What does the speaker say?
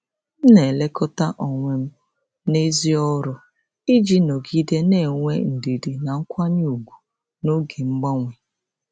M na-elekọta onwe m n’èzí ọrụ iji nọgide na-enwe ndidi na nkwanye ùgwù n’oge mgbanwe.